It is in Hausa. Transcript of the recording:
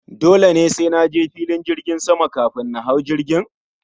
Dole ne sai naje filin jirgin sama kafin na hau jirgin?